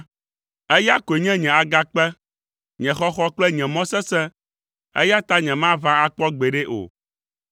Eya koe nye nye agakpe, nye xɔxɔ kple nye mɔ sesẽ, eya ta nyemaʋã akpɔ gbeɖe o.